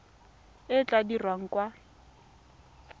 e e tla dirwang kwa